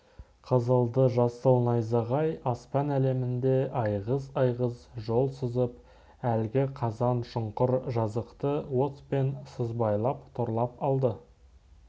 қызылды-жасыл найзағай аспан әлемінде айғыз-айғыз жол сызып әлгі қазан шұңқыр жазықты отпен сызбайлап торлап алды